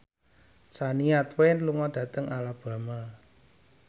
Shania Twain lunga dhateng Alabama